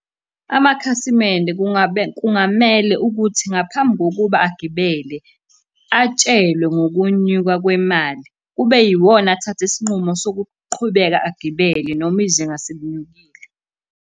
Amakhasimende kungamele ukuthi ngaphambi kokuba agibele, atshelwe ngokunyuka kwemali, kube yiwona athatha isinqumo sokuqhubeka agibele noma izinga selinyukile.